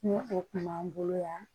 Ni o kun b'an bolo yan